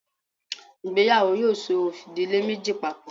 ìgbéyàwò! yoo so idile Meji papo.